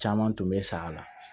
Caman tun bɛ sa la